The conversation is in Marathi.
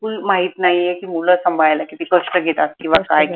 बिलकुल माहित नाई की मूल सांभाळायला किती कष्ट घेतात किंव्हा काय